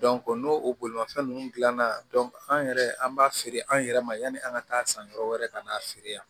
n'o bolimafɛn ninnu dilanna an yɛrɛ an b'a feere an yɛrɛ ma yani an ka taa san yɔrɔ wɛrɛ ka na feere yan